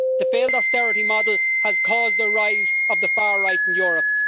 The failed austerity model has caused the rise of the far right in Europe.